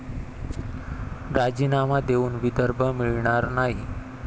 राजीनामा देऊन विदर्भ मिळणार नाही'